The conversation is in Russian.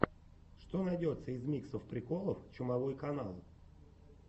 что найдется из миксов приколов чумовой канал